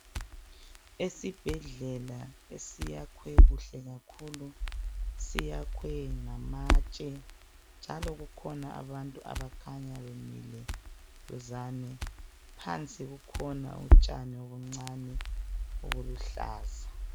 Esibhedlela esiyakhwe kuhle kakhulu, siyakhwe ngamatshe njalo kukhona abantu abakhanya bemile duzane, phansi kukhona utshani obuncane obuluhlaza.